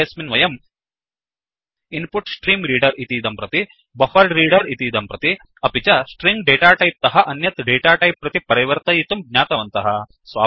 पाठेऽस्मिन् वयम् इन्पुट्स्ट्रीम्रेडर इतीदं प्रति बफरेड्रेडर इतीदं प्रति अपि च स्ट्रिंग डेटाटैप् तः अन्यत् डेटाटैप् प्रति परिवर्तयितुं ज्ञातवन्तः